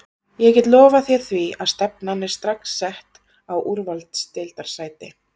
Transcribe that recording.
Ég get lofað þér því að stefnan er strax sett á úrvalsdeildarsæti.